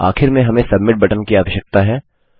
आखिर में हमें सबमिट बटन की आवश्यकता है